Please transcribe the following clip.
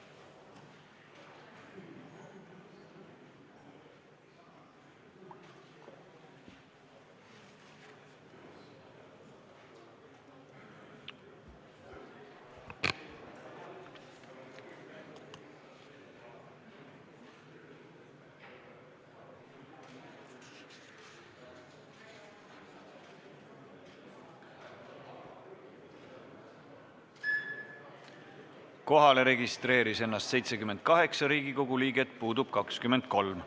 Kohaloleku kontroll Kohalolijaks registreeris ennast 78 Riigikogu liiget, puudub 23.